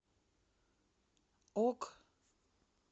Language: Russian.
ок